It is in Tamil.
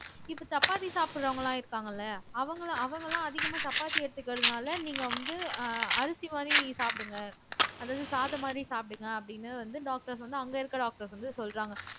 இப்ப சப்பாத்தி சாப்பிடுறவங்க எல்லாம் இருக்காங்க இல்ல அவங்க எல்லாம் அவங்க எல்லாம் அதிகமா சப்பாத்தி எடுத்துக்கிறதுனால நீங்க வந்து ஆஹ் அரிசி மாதிரி சாப்பிடுங்க அதாவது சாதம் மாதிரி சாப்பிடுங்க அப்படின்னு வந்து doctors வந்து அங்க இருக்கிற doctors வந்து சொல்றாங்க